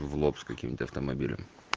в лоб с каким-то автомобилем